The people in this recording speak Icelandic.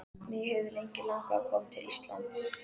Mig hefur lengi langað að koma til Íslands.